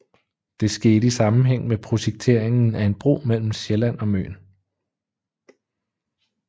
Det skete i sammenhæng med projekteringen af en bro mellem Sjælland og Møn